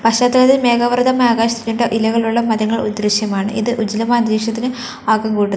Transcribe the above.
മേഘാവൃതമായ ആകാശ ഇലകൾ ഉള്ള മരങ്ങൾ ഉള്ള ഒരു ദൃശ്യമാണ് ഇത് ഉജ്ജ്വലമായ അന്തരീക്ഷത്തിന് ആക്കം കൂട്ടുന്നു.